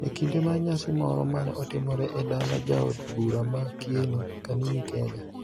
E kinde mar nyasi moro mane otimore e dala jaod bura ma Kieni, Kanini Kega,